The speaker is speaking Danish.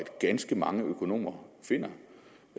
ganske mange økonomer finder